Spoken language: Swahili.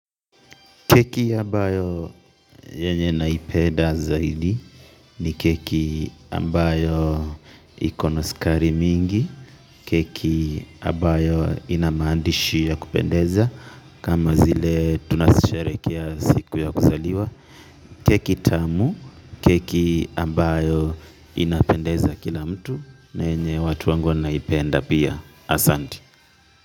Keki ambayo yenye naipenda zaidi ni keki ambayo ikona sukari mingi, keki ambayo ina maandishi ya kupendeza kama zile tunazo sherehekea siku ya kuzaliwa. Keki tamu, keki ambayo inapendeza kila mtu, yenye watu wangu wanaipenda pia asante.